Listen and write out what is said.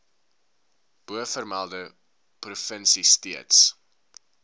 bovermelde provinsie steeds